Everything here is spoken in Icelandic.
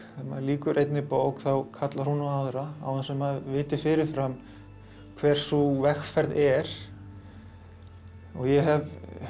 maður lýkur einni bók þá kallar hún á aðra án þess að maður viti fyrirfram hver sú vegferð er og ég hef